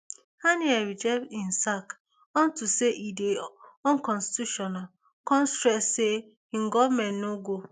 haniyeh reject im sack onto say e dey unconstitutional kon stress say im goment no go